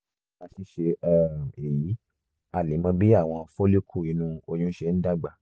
nípa ṣíṣe um èyí a lè mọ bí àwọn follicle inú ọyún ṣe ń dàgbà